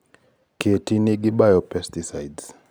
keti nigi biopesticides (ICPIE 62)